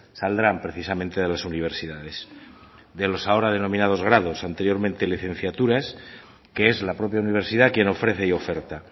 saldrán precisamente de las universidades de los ahora denominados grados anteriormente licenciaturas que es la propia universidad quien ofrece y oferta